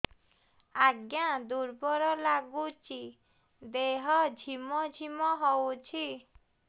ଆଜ୍ଞା ଦୁର୍ବଳ ଲାଗୁଚି ଦେହ ଝିମଝିମ ହଉଛି